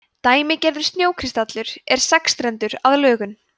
dæmigerður snjókristallur er sexstrendur að lögun